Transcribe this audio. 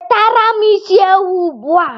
Wetara m isi ewu ugbua!